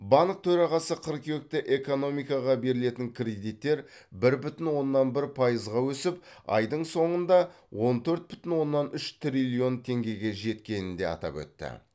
банк төрағасы қыркүйекте экономикаға берілетін кредиттер бір бүтін оннан бір пайызға өсіп айдың соңында он төрт бүтін оннан үш триллион теңгеге жеткенін де атап өтті